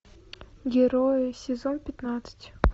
герои сезон пятнадцать